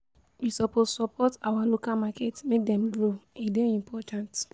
We suppose support our local market make dem grow, e dey important.